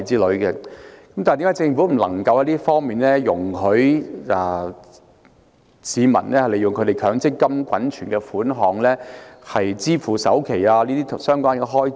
為何政府不容許市民使用強積金滾存的款項支付首期等相關開支？